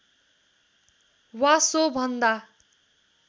वा सो भन्दा